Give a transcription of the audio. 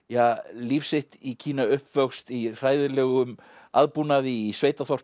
líf sitt í Kína uppvöxt í hræðilegum aðbúnaði í